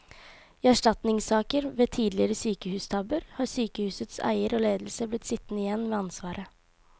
I erstatningssaker ved tidligere sykehustabber har sykehusets eier og ledelse blitt sittende igjen med ansvaret.